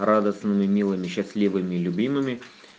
радостными милыми счастливыми и любимыми